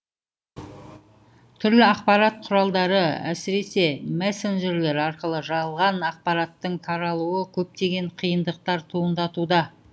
түрлі ақпарат құралдары әсіресе мессенджерлер арқылы жалған ақпараттың таралуы көптеген қиындықтар туындатуда